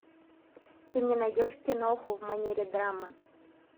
ты мне найдешь киноху в манере драмы